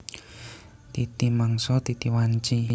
Titi mangsa titi wanci